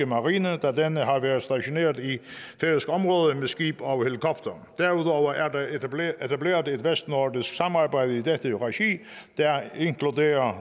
marine da denne har været stationeret i færøsk område med skib og helikopter derudover er der etableret et vestnordisk samarbejde i dette regi der inkluderer